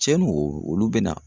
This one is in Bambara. Cɛn no olu bɛ na.